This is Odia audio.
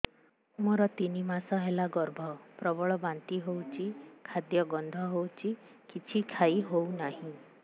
ମୋର ତିନି ମାସ ହେଲା ଗର୍ଭ ପ୍ରବଳ ବାନ୍ତି ହଉଚି ଖାଦ୍ୟ ଗନ୍ଧ ହଉଚି କିଛି ଖାଇ ହଉନାହିଁ